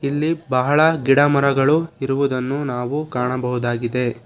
ಇಲ್ಲಿ ಬಹಳ ಗಿಡ ಮರಗಳು ಇರುವುದನ್ನು ನಾವು ಕಾಣಬಹುದಾಗಿದೆ.